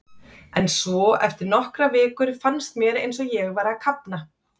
En svo, eftir nokkrar vikur, fannst mér eins og ég væri að kafna.